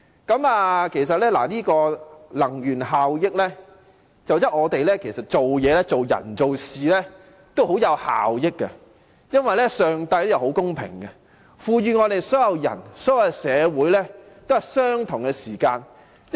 關於能源效益，我想說的是，其實做人和做事均講求效益，因為上帝是很公平的，祂賦予所有人和社會相同的時間。